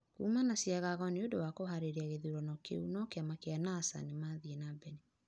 Kũma na cĩagago nĩũndũ wa kuharĩrĩa gĩthurano kĩũ no Kĩama kĩa Nasa nĩmathĩe na mbele